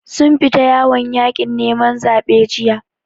Sun fita yawon yaƙin neman zaɓe jiya.